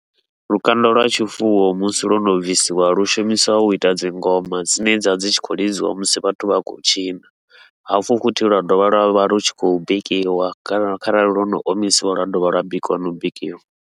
Lukanda lwa tshifuwo musi lwo no bvisiwa lu shumisiwa uita dzingoma dzine dza vha dzi tshi khou lidziwa musi vhathu vha tshi khou tshina, hafhu futhi lwa dovha lwavha lu tshi khou bikiwa kana kharali lwono omisiwa lwa dovha lwa bikiwa nau bikiwa.